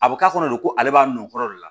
A bɛ k'a kɔnɔ de ko ale b'a min o kɔrɔ de la